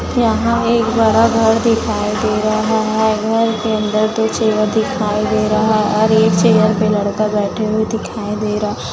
यहां एक बड़ा घर दिखाई दे रहा है घर के अंदर दो चेयर दिखाई दे रहा और एक चेयर पे लड़का बैठे हुए दिखाई दे रहा।